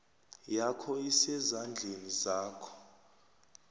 yakho isezandleni zakho